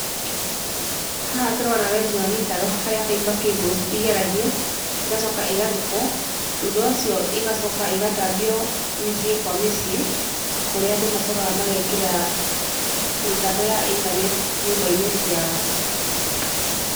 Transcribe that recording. Haha tũrona wenji wa mĩtaro harĩa fibre cables igeragio ĩgacoka ĩgathikwo, thutha ũcio ĩgacoka ĩgatambio mĩciĩ kwa mĩciĩ kũrĩa andũ macokaga magekĩra mĩtambo ya intaneti nyũmba inĩ ciao.